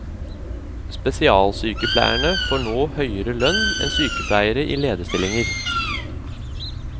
Spesialsykepleierne får nå høyere lønn enn sykepleiere i lederstillinger.